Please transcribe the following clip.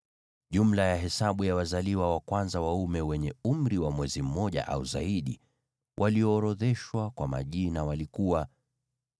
Jumla ya hesabu ya wazaliwa wa kwanza waume wenye umri wa mwezi mmoja au zaidi, walioorodheshwa kwa majina, walikuwa 22,273.